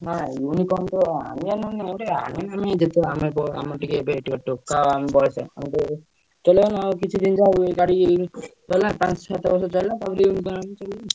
ଚାଲୁଁ କିଛି ଦିନ ଯାଏ ଗାଡି ଚଳା ପାଞ୍ଚ ସାତବର୍ଷ ଯାଏ,